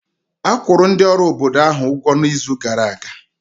A kwụrụ ndị ọrụ obodo ahụ ụgwọ n'izu gara aga